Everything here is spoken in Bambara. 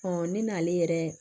ne n'ale yɛrɛ